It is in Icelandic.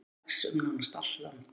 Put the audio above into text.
blóðberg vex um nánast allt land